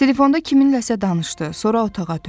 Telefonda kiminləsə danışdı, sonra otağa döndü.